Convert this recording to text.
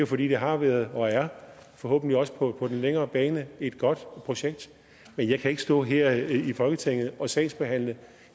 fordi det har været og er forhåbentlig også på den længere bane et godt projekt men jeg kan ikke stå her i folketingssalen og sagsbehandle